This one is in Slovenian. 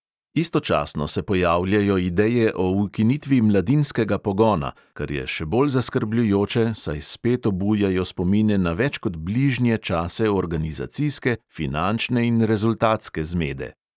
Istočasno se pojavljajo ideje o ukinitvi mladinskega pogona, kar je še bolj zaskrbljujoče, saj spet obujajo spomine na več kot bližnje čase organizacijske, finančne in rezultatske zmede.